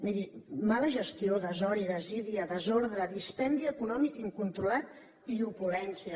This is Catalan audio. miri mal gestió desori desídia desordre dispendi econòmic incontrolat i opulència